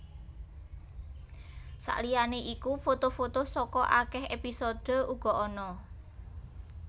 Saliyané iku foto foto saka akèh épisode uga ana